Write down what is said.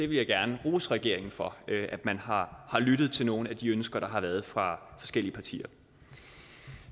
vil gerne rose regeringen for at man har lyttet til nogle af de ønsker der har været fra forskellige partier